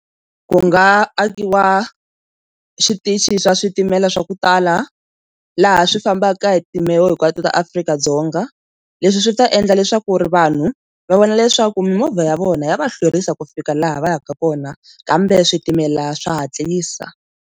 Ku nga akiwa switichi swa switimela swa ku tala laha swi fambaka hi timbewu hinkwato ta Afrika-Dzonga leswi swi ta endla leswaku ri vanhu va vona leswaku mimovha ya vona ya va hlwerisa ku fika laha va yaka kona kambe switimela swa hatlisa.